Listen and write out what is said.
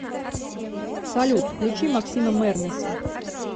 салют включи маскима мэрнэса